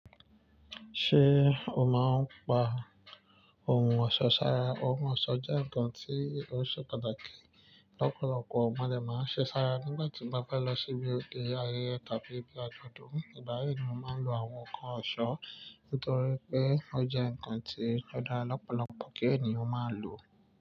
Ṣé o máa ń pa ohun ọ̀ṣọ́ sára? Ohun ọ̀ṣọ́ jẹ́ nǹkan tí ó ṣe pàtàkì. Ọ̀pọ̀lọpọ̀ mọ dé máa ń ṣe sára nígbà tí n bá fẹ́ lọ síbi òde ayẹyẹ tàbí bí igbádùn. Ìgbá yi ni mo máa ń lo àwọn nǹkan ọ̀ṣọ́ nítorí pé ó jẹ́ nǹkan tí ó dára lọ́pọ̀lọpọ̀ kí ènìyàn máa lò.